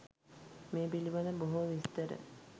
මේ පිළිබඳ බොහෝ විස්තර